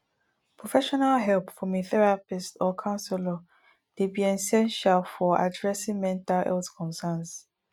professional help from a therapist or counselor dey be essential for addressing mental health concerns